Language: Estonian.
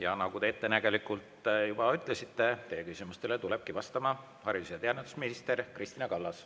Ja nagu te ettenägelikult juba ütlesite, teie küsimustele tuleb vastama haridus‑ ja teadusminister Kristina Kallas.